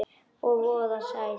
Og voða sætt.